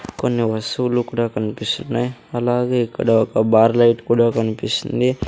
కొన్ని వస్తువులు కూడా కనిపిస్తున్నాయి అలాగే ఇక్కడ ఒక బార్ లైట్ కూడా కనిపిస్తుంది.